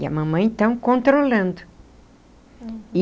E a mamãe, então, controlando.